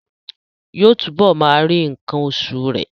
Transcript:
Yóò túbọ̀ máa rí nǹkan oṣù rẹ̀